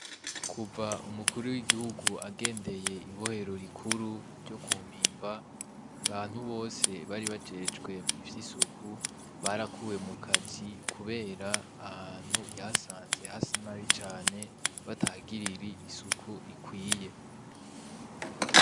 Kuva umukuru w‘igihugu agendeye ibohero rikuru ryo ku mpimba, abantu bose bari bajejwe ivy‘ isuku, barakuwe mu kazi kubera ahantu yahasanze hasa nabi cane batahagirira isuku rikwiye.